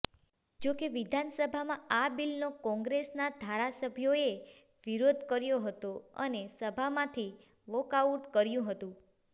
જોકે વિધાન સભામાં આ બિલનો કોંગ્રેસના ધારાસભ્યોએ વિરોધ કર્યો હતો અને સભામાંથી વોકઆઉટ કર્યું હતું